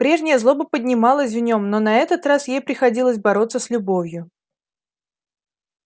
прежняя злоба поднималась в нем но на этот раз ей приходилось бороться с любовью